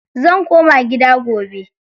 Zan koma gida gobe.